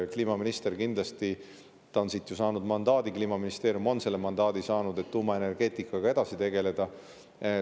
Kliimaminister on ju siit saanud mandaadi, Kliimaministeerium on saanud selle mandaadi, et tuumaenergeetikaga edasi tegeleda.